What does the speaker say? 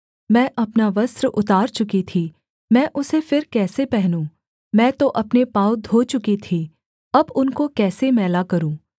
मैं अपना वस्त्र उतार चुकी थी मैं उसे फिर कैसे पहनूँ मैं तो अपने पाँव धो चुकी थी अब उनको कैसे मैला करूँ